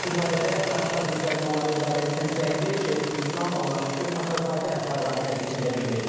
Bu barədə Qafqaz Müsəlmanları İdarəsinin sədri Şeyxülislam Allahşükür Paşazadə bayram təbrikində bildirib.